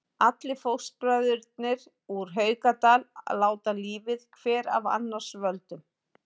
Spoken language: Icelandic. Allir fóstbræðurnir úr Haukadal láta lífið, hver af annars völdum.